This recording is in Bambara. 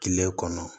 Kile kɔnɔ